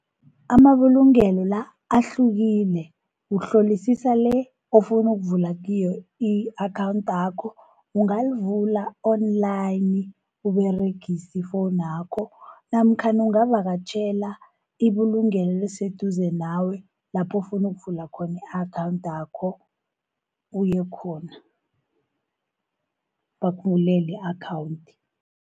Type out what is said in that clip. Amabulungelo la, ahlukile uhlolisisa le ofuna ukuvula kiyo i-akhawuntakho. Ungayivula online, Uberegisa ifowunakho namkhana ungavakatjhela ibulungelo eliseduze nawe lapho ofuna ukuvula khona i-akhawuntakho uye khona, bakuvulele i-akhawunti.